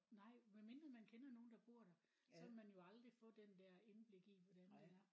Nej medmindre man kender nogen der bor der så ville man jo aldrig få den der indblik i hvordan det er